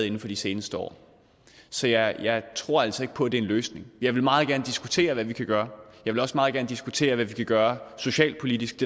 inden for de seneste år så jeg jeg tror altså ikke på det en løsning jeg vil meget gerne diskutere hvad vi kan gøre og jeg vil også meget gerne diskutere hvad vi kan gøre socialpolitisk